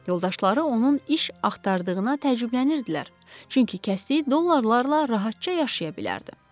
Yoldaşları onun iş axtardığına təəccüblənirdilər, çünki kəsdiyi dollarlarla rahatca yaşaya bilərdi.